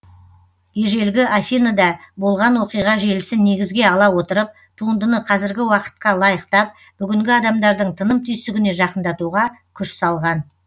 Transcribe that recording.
ежелгі афиныда болған оқиға желісін негізге ала отырып туындыны қазіргі уақытқа лайықтап бүгінгі адамдардың тыным түйсігіне жақындатуға күш салған